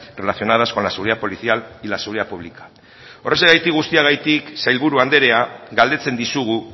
relacionadas con la seguridad policial y la seguridad pública horrexegatik guztiagatik sailburu andrea galdetzen dizugu